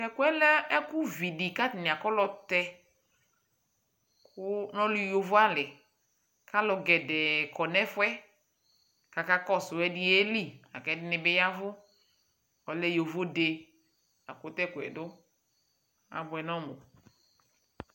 Tʋ ɛkʋ yɛ lɛ ɛkʋvi dɩ kʋ atanɩ akɔlɔtɛ kʋ nʋ ɔlʋ yovoalɩ kʋ alʋ gɛdɛɛ kɔ nʋ ɛfʋ yɛ kʋ akakɔsʋ Ɛdɩ yeli la kʋ ɛdɩnɩ bɩ ya ɛvʋ Ɔlɛ yovode la kʋ tʋ ɛkʋ yɛ dʋ Abʋɛ nʋ ɔmʋ